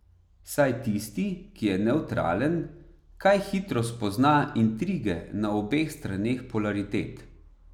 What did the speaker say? Saj tisti, ki je nevtralen, kaj hitro spozna intrige na obeh straneh polaritet.